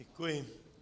Děkuji.